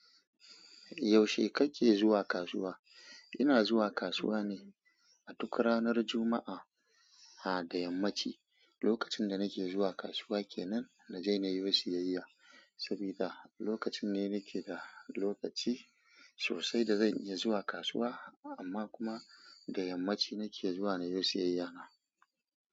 Yaushe kake zuwa kasuwa? Ina zuwa kasuwa ne a duk ranar Juma'a da yammaci. Lokacin da nake zuwa kasuwa ke nan na je na yiwo siyayya. Sabida lokacin ne nake da lokaci sosai da zan iya zuwa kasuwa amma kuma da yammaci nake zuwa na yi siyayya na.